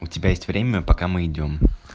у тебя есть время пока мы идём